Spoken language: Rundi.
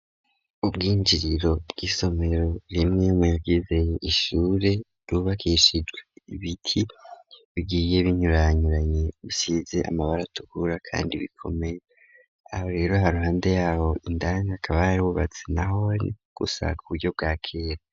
Ubwinjiriro bw'isomero rimwe muyagize ishure ryubakishijwe ibiti bigiye binyuranyuranye bisize amabara atukura kandi bikomeye aho rero haruhande yaho indani hakaba hari hubatse naho gusa ku buryo bwakera.